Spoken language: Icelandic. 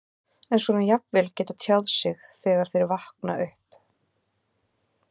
En svona jafnvel geta tjáð sig þegar þeir vakna upp?